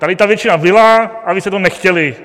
Tady ta většina byla a vy jste to nechtěli.